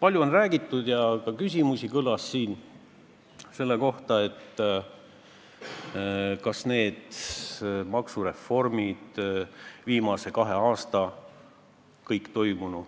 Palju on räägitud ka sellest – tänagi kõlas siin küsimusi selle kohta –, kas kõik need maksureformid, mis on viimase kahe aasta jooksul